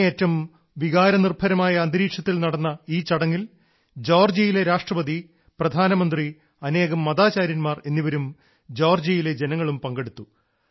അങ്ങേയറ്റം വികാര നിർഭരമായ അന്തരീക്ഷത്തിൽ നടന്ന ഈ ചടങ്ങിൽ ജോർജ്ജിയയിലെ രാഷ്ട്രപതി പ്രധാനമന്ത്രി അനേകം മതാചാര്യന്മാർ എന്നിവരും ജോർജ്ജിയയിലെ ജനങ്ങളും പങ്കെടുത്തു